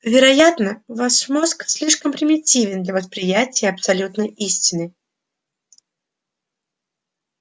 вероятно ваш мозг слишком примитивен для восприятия абсолютной истины